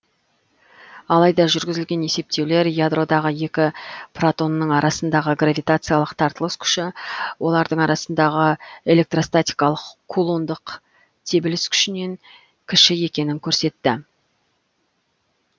алайда жүргізілген есептеулер ядродағы екі протонның арасындағы гравитациялық тартылыс күші олардың арасындағы электростатикалық кулондық тебіліс күшінен кіші екенін көрсетті